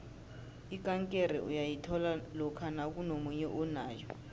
ikankere uyayithola lokha nakunomunye onayo